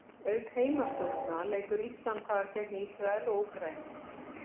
Auk heimastúlkna leikur Ísland þar gegn Ísrael og Úkraínu.